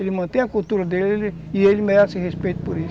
Ele mantém a cultura dele e ele merece respeito por isso.